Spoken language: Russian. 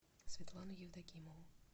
светлану евдокимову